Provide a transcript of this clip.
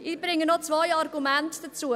Ich bringe noch zwei Argumente vor: